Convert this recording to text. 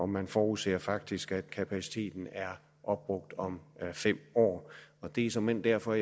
man forudser faktisk at kapaciteten er opbrugt om fem år det er såmænd derfor